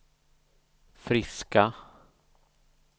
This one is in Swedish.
friska